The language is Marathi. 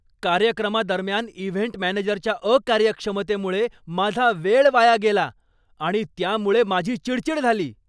कार्यक्रमादरम्यान इव्हेंट मॅनेजरच्या अकार्यक्षमतेमुळे माझा वेळ वाया गेला आणि त्यामुळे माझी चिडचीड झाली.